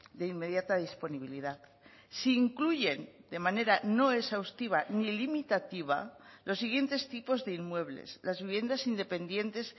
de inmediata disponibilidad se incluyen de manera no exhaustiva ni limitativa los siguientes tipos de inmuebles las viviendas independientes